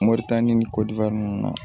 Moritani ni ninnu na